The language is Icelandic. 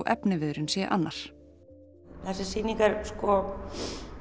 efniviðurinn sé annar þessi sýning er sko